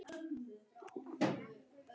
Það er svo fallegt hérna.